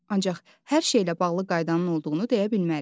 Ancaq hər şeylə bağlı qaydanın olduğunu deyə bilmərik.